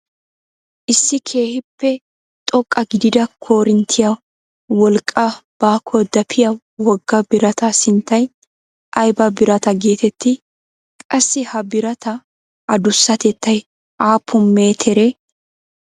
Issi keehippe xoqqa gidida korinttiyaa wolqqaaa baakko dapiyaa wogga birataa sinttay aybaa birataa getettii? qassi ha birataa adusatettay aapun meteree?